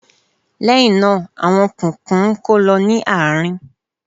Lẹ́hinna, àwọn kùnkùn ń kó lọ ní àárín.